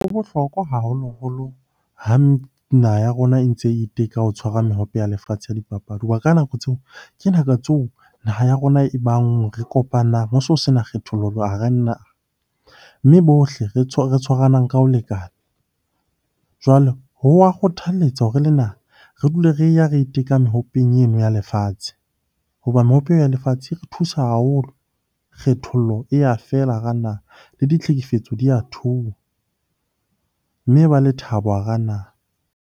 Ho bohlokwa haholoholo ha naha ya rona e ntse e iteka ho tshwara mehope ya lefatshe ya dipapadi. Hoba ka nako tseo, ke nako tseo naha ya rona e bang, re kopanang ho so sena kgethollo hara . Mme bohle re tshwaranang ka ho lekana. Jwale ho wa kgothaletsa hore le re dule re ya re iteka mehopeng eno ya lefatshe. Hoba mehope eo ya lefatshe e re thusa haholo, kgethollo e ya fela hara naha, le ditlhekefetso di ya theoha. Mme e ba le thabo hara naha.